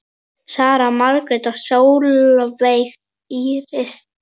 Sara Margrét og Sólveig Íris.